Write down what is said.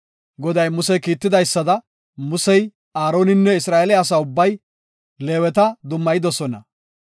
Goday Muse kiitidaysada, Musey, Aaroninne Isra7eele asa ubbay Leeweta dummayidosona.